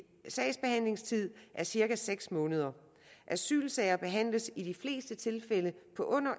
sagsbehandlingstid er cirka seks måneder asylsager behandles i de fleste tilfælde på under